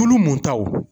Tulu mun taw